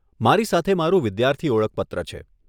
મારી સાથે મારું વિદ્યાર્થી ઓળખપત્ર છે.